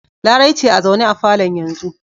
Larai ce a zaune a falon yanzu.